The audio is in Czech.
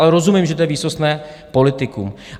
Ale rozumím, že to je výsostné politikum.